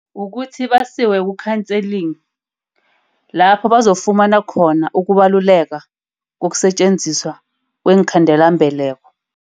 Kukuthi basiwe ku-counseling. Lapho bazokufumana khona ukubaluleka kokusetjenziswa kweenkhandelambeleko.